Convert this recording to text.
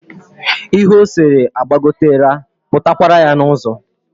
Ihe ọ sere agbagotera, pụta kwara yá n'uzo